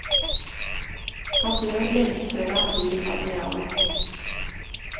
Han dør lenge før han blir admiral.